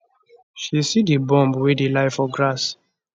she see di bomb wey dey lie for grass